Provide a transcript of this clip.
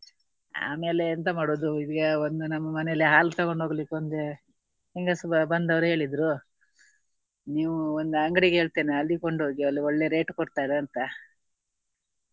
ಆಮೇಲೆ ಎಂತ ಮಾಡುವುದು ಇದೀಗ ಒಂದು ನಮ್ಮ ಮನೆಯಲ್ಲಿ ಹಾಲು ತಗೊಂಡು ಹೋಗಲಿಕ್ಕೆಒಂದು ಹೆಂಗಸು ಬ~ ಬಂದವರು ಹೇಳಿದ್ರು. ನೀವು ಒಂದು ಅಂಗಡಿಗೆ ಹೇಳ್ತೇನೆ ಅಲ್ಲಿಗೆ ಕೊಂಡು ಹೋಗಿ ಅಲ್ಲಿ ಒಳ್ಳೆ rate ಕೊಡ್ತಾರೆ ಅಂತ.